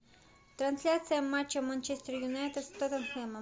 трансляция матча манчестер юнайтед с тоттенхэмом